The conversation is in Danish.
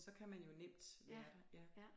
Så kan man jo nemt være der ja